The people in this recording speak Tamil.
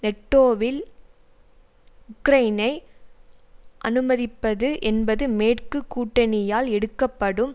நெட்டோவில் உக்ரைனை அனுமதிப்பது என்பது மேற்கு கூட்டணியால் எடுக்கப்படும்